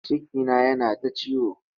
Cikina yana ta ciwo.